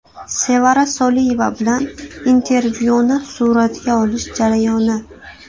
Sevara Soliyeva bilan intervyuni suratga olish jarayoni.